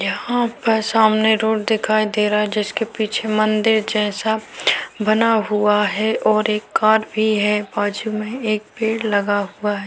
यहाँ पर सामने रोड दिखाई दे रहा है जिसके पिछे मंदिर जैसा बना हुआ है और एक कार भी है बाजू में एक पेड़ लगा हुआ है।